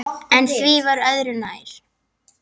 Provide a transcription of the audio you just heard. En því var öðru nær.